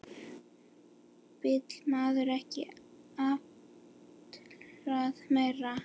Vill maður ekki alltaf meira?